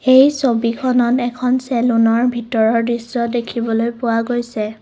এই ছবিখনত এখন চেলুনৰ ভিতৰৰ দৃশ্য দেখিবলৈ পোৱা গৈছে।